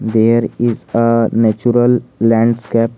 there is a natural landscap.